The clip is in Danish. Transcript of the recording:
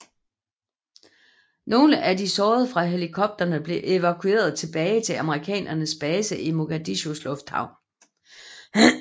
Nogle af de sårede fra helikopterne blev evakueret tilbage til amerikanernes base i Mogadishus lufthavn